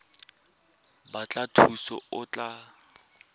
batla thuso fa o tlatsa